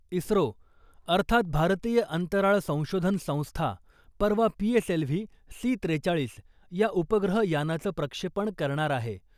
इस्रो , अर्थात भारतीय अंतराळ संशोधन संस्था, परवा पीएसएलव्ही सी त्रेचाळीस या उपग्रह यानाचं प्रक्षेपण करणार आहे .